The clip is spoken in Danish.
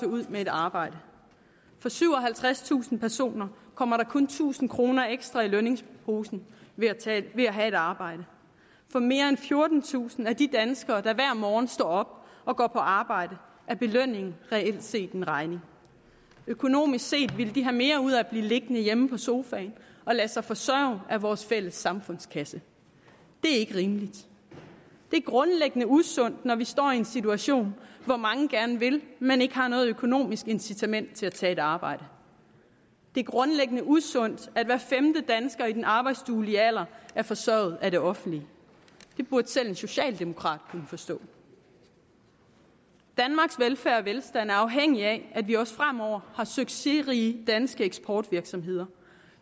ud med et arbejde for syvoghalvtredstusind personer kommer der kun tusind kroner ekstra i lønningsposen ved at have et arbejde for mere end fjortentusind af de danskere der hver morgen står op og går på arbejde er belønningen reelt set en regning økonomisk set ville de have mere ud af at blive liggende hjemme på sofaen og lade sig forsørge af vores fælles samfundskasse det er ikke rimeligt det er grundlæggende usundt at vi står i en situation hvor mange gerne vil men ikke har noget økonomisk incitament til at tage et arbejde det er grundlæggende usundt at hver femte dansker i den arbejdsduelige alder er forsørget af det offentlige det burde selv en socialdemokrat kunne forstå danmarks velfærd og velstand er afhængig af at vi også fremover har succesrige danske eksportvirksomheder